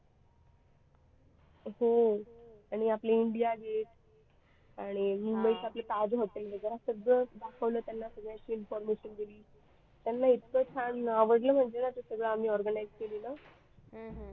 हो आणि आपले इंडिया gate आणि मुंबईचे आपले ताज hotel वगैरे सगळं दाखवलं त्यांना पुण्याची information दिली त्यांना इतका छान आवडलं म्हणजे ना ते सगळं आम्ही organise केलेला.